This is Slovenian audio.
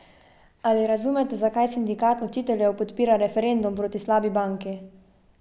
Ali razumete, zakaj sindikat učiteljev podpira referendum proti slabi banki?